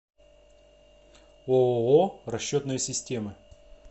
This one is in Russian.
ооо расчетные системы